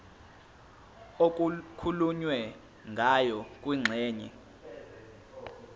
okukhulunywe ngayo kwingxenye